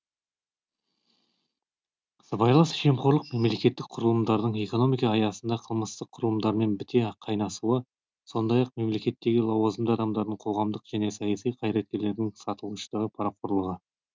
сыбайлас жемқорлық мемлекеттік құрылымдардың экономика аясында қылмысты құрылымдармен біте қайнасуы сондай ақ мемлекеттегі лауазымды адамдардың қоғамдық және саяси қайраткерлердің сатылғыштығы парақорлығы